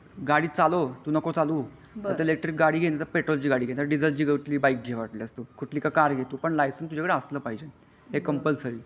गाडी चालव तू नको चालू नाही तर इलेकट्रीक ची गाडी घे कि पेट्रोल ची घे किंवा डिझेल ची कुठली बाईक घे वाटल्यास तू कुठली का कार घे तू पण तुझाकडे लायसेन्स असला पाहजे हे कंपलसरी आहे